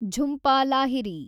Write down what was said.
Jhumpa Lahiri